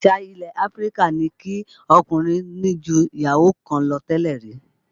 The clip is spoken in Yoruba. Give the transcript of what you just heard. Àṣà ilẹ̀ Áfríkà ni kí ọkùnrin ní ju ìyàwó kan lọ tẹ́lẹ̀ rí